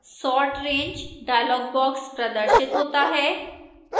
sort range dialog box प्रदर्शित होता है